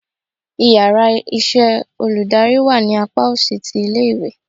íyarà iṣẹ olùdarí wá ní apá osì tí ilé ìwé